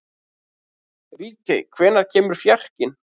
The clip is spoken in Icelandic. Ríkey, hvenær kemur fjarkinn?